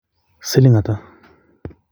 siling ata